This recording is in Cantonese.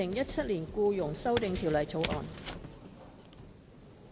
《2017年僱傭條例草案》。